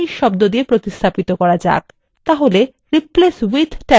তাহলে replace with ট্যাবে লিখুন manish